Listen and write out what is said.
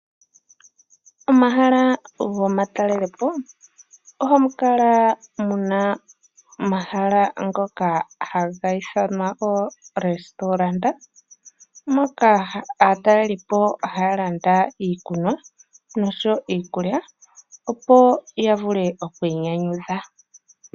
Omahala gomatalelipo ohamu kala muna omahala ngoka haga ithanwa oorestaurant, moka aatalelipo haya landa iikunwa noshowo iikulya opo ya vule okwiinyanyudha.